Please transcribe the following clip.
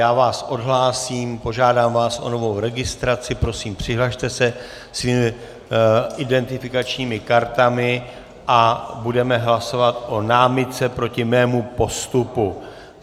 Já vás odhlásím, požádám vás o novou registraci, prosím, přihlaste se svými identifikačními kartami a budeme hlasovat o námitce proti mému postupu.